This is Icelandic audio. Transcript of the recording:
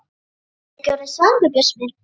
Ertu ekki orðinn svangur, Bjössi minn?